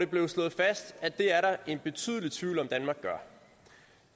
blev det slået fast at det er der en betydelig tvivl om hvorvidt danmark gør